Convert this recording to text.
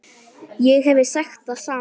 Ég hefði sagt það sama.